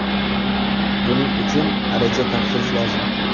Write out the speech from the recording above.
Buning uchun ariza topshirish lozim.